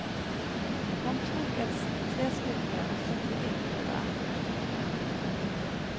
Han tok et trestykke og satte ild på det. punktum